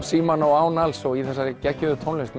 símanna og alls í þessari geggjuðu tónlist